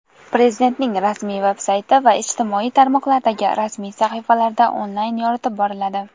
Prezidentning rasmiy veb-sayti va ijtimoiy tarmoqlardagi rasmiy sahifalarida onlayn yoritib boriladi.